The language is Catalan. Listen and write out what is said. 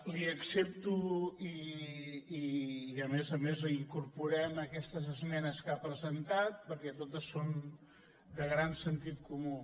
li accepto i a més a més les incorporem aquestes esmenes que ha presentat perquè totes són de gran sentit comú